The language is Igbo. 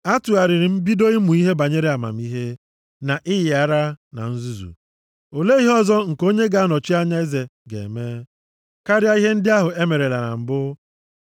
Atụgharịrị m bido ịmụ ihe banyere amamihe, na ịyị ara na nzuzu. Olee ihe ọzọ nke onye ga-anọchi anya eze ga-eme, karịa ihe ndị ahụ e merela na mbụ?